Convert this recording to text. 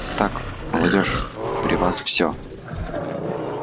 так молодёжь при вас всё